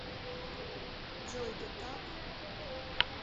джой да так